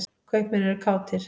Kaupmenn eru kátir.